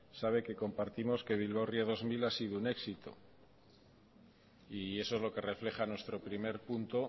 sabe que compartimos que bilbao ría dos mil ha sido un éxito y eso es lo que refleja nuestro primer punto